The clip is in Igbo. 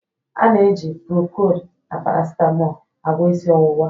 A na-eji procold na paracetmol agwọ isi ọwụwa